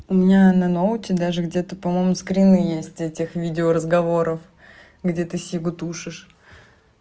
у меня на ноутбуки даже где-то по-моему скрины есть этих видео разговоров где ты сигарету тушишь